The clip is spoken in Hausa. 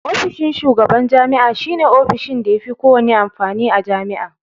Ofishin shugaban jami'a shi ne ofishin da yafi kowanne amfani a Jami'a.